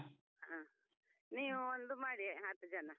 ಹ ನೀವು ಒಂದು ಮಾಡಿ ಹತ್ತು ಜನ.